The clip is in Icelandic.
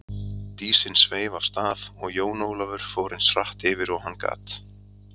Dísin sveif af stað og Jón Ólafur fór eins hratt yfir og hann gat.